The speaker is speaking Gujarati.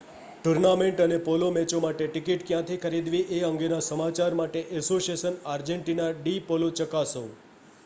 ટૂર્નામેન્ટ અને પોલો મેચો માટે ટિકિટ ક્યાંથી ખરીદવી એ અંગેના સમાચાર માટે એસોસિયાશન આર્જેંટિના ડી પોલો ચકાસો